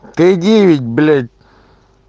т девять блять